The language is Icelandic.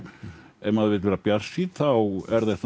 ef maður vill vera bjartsýnn þá er þetta